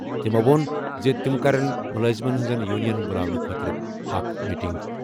تِمَو ووٚن زِ تِم کَرن مُلٲزِمن ہِنٛزن یونینن بُلاونہٕ خٲطرٕ اکھ میٹنٛگ۔